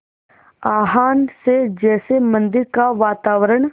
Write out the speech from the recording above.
आह्वान से जैसे मंदिर का वातावरण